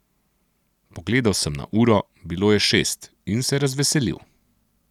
Pogledal sem na uro, bilo je šest, in se razveselil.